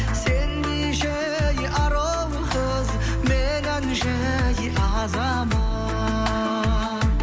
сендейше ей ару қыз меніңше ей азамат